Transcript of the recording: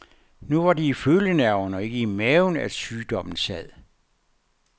Nu var det i følenerverne og ikke i maven at sygdommen sad.